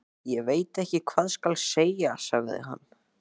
Ég veit ekki hvað skal segja sagði hann.